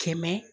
Kɛmɛ